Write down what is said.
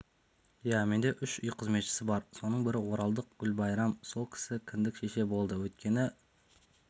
иә менде үш үй қызметшісі бар соның бірі оралдық гүлбайрам сол кісі кіндік шеше болды өйткені